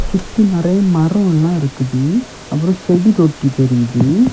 சுத்தி நெறைய மரோ எல்லா இருக்குது. அப்ரோ செடி தொட்டி தெரியுது.